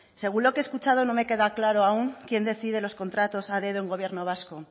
según lo que he escuchado no me queda claro aún quién decide los contratos a dedo en gobierno vasco